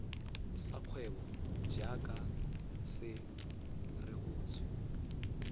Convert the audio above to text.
sa kgwebo jaaka se rebotswe